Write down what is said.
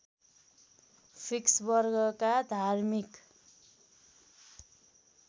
fix वर्गका धार्मिक